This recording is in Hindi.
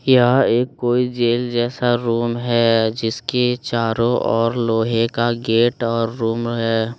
यह एक कोई जेल जैसा रूम है जिसके चारो ओर लोहे का गेट और रूम है।